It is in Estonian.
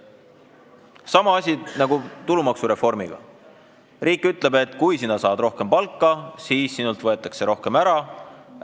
Sama asi nagu tulumaksureformiga: riik ütleb, et kui sina saad rohkem palka, siis sinult võetakse rohkem ära.